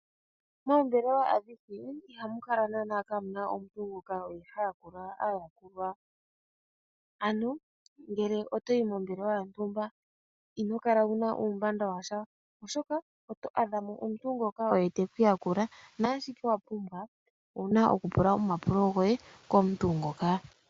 Moombelewa adhihe ihamu kala naanaa kaamuna omuntu ngoka oye ha yakula aayakulwa, ano ngele oto yi mombelewa yontumba ino kala wuna uumbanda washa oshoka oto adha mo omuntu ngoka oye teku yakula, naashihe wa pumbwa owuna oku pula omapulo goye komuntu ngoka.